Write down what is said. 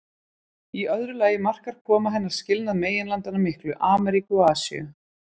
Í öðru lagi markar koma hennar skilnað meginlandanna miklu, Ameríku og Asíu.